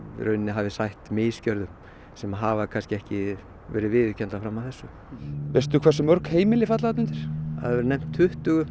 hafi sætt misgjörðum sem hafa ekki verið viðurkenndar fram að þessu veistu hversu mörg heimili falla þarna undir það hafa verið nefnd tuttugu